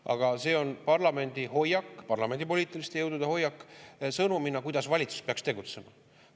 Aga see on parlamendi hoiak, parlamendi poliitiliste jõudude hoiak, sõnumina, kuidas valitsus peaks tegutsema.